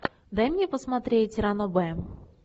дай мне посмотреть ранобэ